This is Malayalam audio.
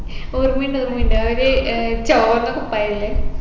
ഓർമ്മയുണ്ട് ഓർമ്മയുണ്ട് ഏടെ ഏർ ചോന്ന കുപ്പയല്ലേ